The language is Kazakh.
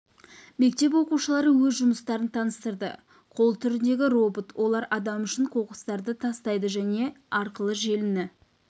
мектеп оқушылары өз жұмыстарын таныстырды қол түріндегі робот олар адам үшін қоқыстарды тастайды және арқылы желіні